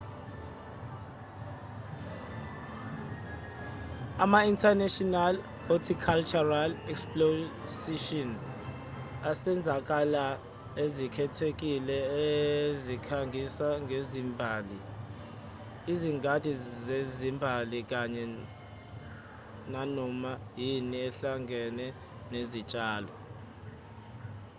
ama-international horticultural exposition ezenzakalo ezikhethekile ezikhangisa ngezimbali izingadi zezimbali kanye nanoma yini ehlangene nezitshalo